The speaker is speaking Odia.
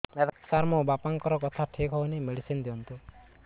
ସାର ମୋର ବାପାଙ୍କର କଥା ଠିକ ହଉନି ମେଡିସିନ ଦିଅନ୍ତୁ